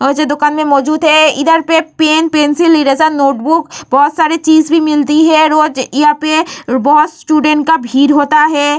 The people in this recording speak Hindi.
आज दुकान में मौजूद है इधर पे पेन पेंसिल इरेज़र नोटबुक बहुत सारी चीज भी मिलती है रोज यहाँ पे बहुत स्टूडेंट का भीड़ होता है।